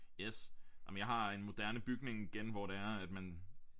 Yes ah men jeg har en moderne bygning igen hvor det er at man